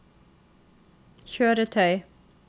kjøretøy